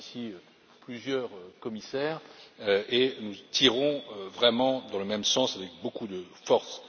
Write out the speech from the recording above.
Nous sommes ici plusieurs commissaires et nous tirons vraiment dans le même sens avec beaucoup de force.